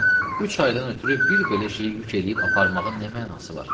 Xanım, üç aydan ötrü bir belə şeyi yük eləyib aparmağın nə mənası var?